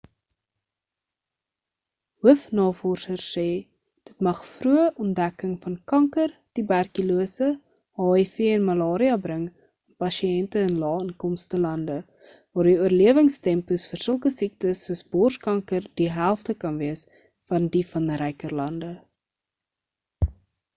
hoofnavorsers sê dit mag vroeë ontdekking van kanker tuberkulose hiv en malaria bring aan pasiënte in lae-inkomste lande waar die oorlewingstempos vir sulke siektes soos borskanker die helfte kan wees van die van ryker lande